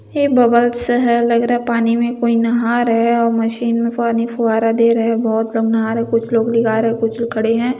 ऐ bubbles है। लग रहा है पानी में कोई नाह रहा है मशीन में पाने फुवारा दे रहे है बहोत कम नहार है कुछ लोग रहे है कुछ लोग खड़े है।